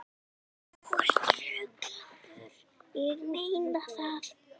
Þú ert ruglaður.